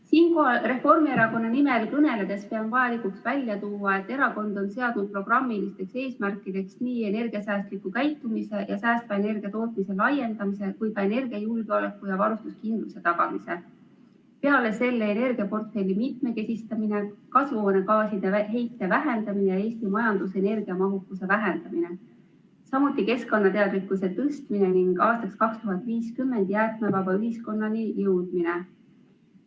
Siinkohal Reformierakonna nimel kõneledes pean vajalikuks välja tuua, et erakond on seadnud programmilisteks eesmärkideks nii energiasäästliku käitumise ja säästva energia tootmise laiendamise kui ka energiajulgeoleku ja varustuskindluse tagamise, peale selle energiaportfelli mitmekesistamine, kasvuhoonegaaside heite vähendamine ja Eesti majanduse energiamahukuse vähendamine, samuti keskkonnateadlikkuse tõstmine ning aastaks 2050 jäätmevaba ühiskonnani jõudmine.